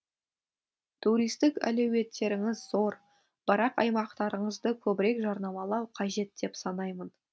туристік әлеуеттеріңіз зор бірақ аймақтарыңызды көбірек жарнамалау қажет деп санаймын